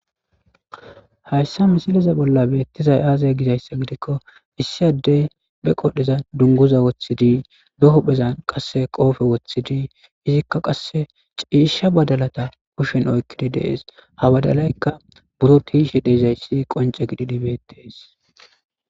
hayssa misiliza bolla beettizay aazay gizayssa gidikko issi addey be qodheza dunguza woththidi deho phezan qasse qoofe woththidi izikka qasse ciisha badalata kushen oykkidi dees ha badalaykka buro tiishe deezayssi qonce gididibettees